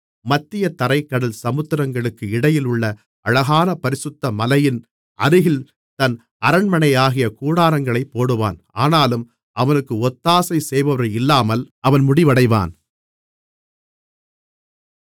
மத்திய தரைக் கடல் சமுத்திரங்களுக்கு இடையிலுள்ள அழகான பரிசுத்த மலையின் அருகில் தன் அரண்மனையாகிய கூடாரங்களைப் போடுவான் ஆனாலும் அவனுக்கு ஒத்தாசைசெய்பவர் இல்லாமல் அவன் முடிவடைவான்